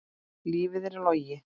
Lífið er logi.